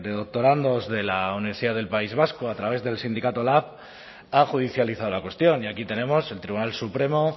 de doctorandos de la universidad del país vasco a través del sindicato lab ha judicializado la cuestión y aquí tenemos el tribunal supremo